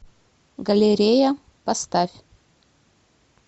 галерея поставь